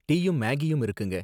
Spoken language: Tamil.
டீயும் மேகியும் இருக்குங்க.